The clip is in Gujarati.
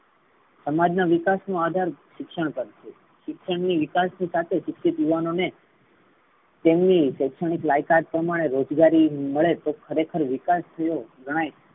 સમાજ નો વિકાસ નો અધાર શિક્ષણ છે. શિક્ષણ થી વિકાસ ના સાથે શિક્ષિત યુવાનો ને તેમની શૈક્ષણિક લાયકાત પ્રમાણે રોજગારી મળે. તો ખરેખર વિકાસ ગણાય.